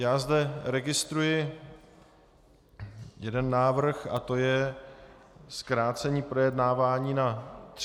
Já zde registruji jeden návrh a to je zkrácení projednávání na 30 dnů.